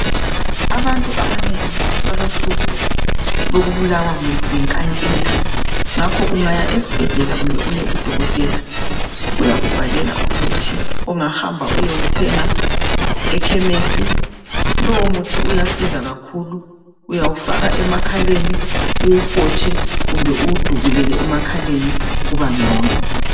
Abantu abanengi balohlupho lokubulawa yinkankila ngakho ungaya esibhedlela kumbe uye kudokotela uyakubhalela umuthi ongahamba uyewuthenga ekhemesi. Lowo muthi uyasiza kakhulu uyawufaka emakhaleni uwuhotshe kumbe uwudubulele emakhaleni kuba ngcono.